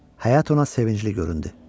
Həyat ona sevincli göründü.